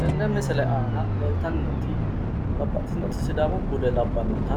Tenne misile aana leeltanni noota